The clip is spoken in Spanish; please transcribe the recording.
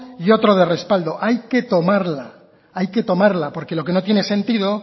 y otro de respaldo hay que tomarla hay que tomarla porque lo que no tiene sentido